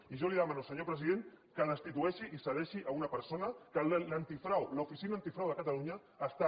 i jo li demano senyor president que destitueixi i cessi una persona que l’oficina antifrau de catalunya està